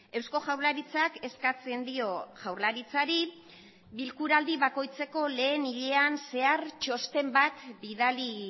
eusko jaurlaritzak eskatzen dio jaurlaritzari bilkura aldi bakoitzeko lehen hilean zehar txosten bat bidali